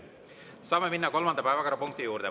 Saame minna kolmanda päevakorrapunkti juurde.